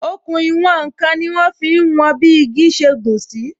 Òkun ìwòn n kan ni wọn fi ń wọn bi igi ṣe gùn sí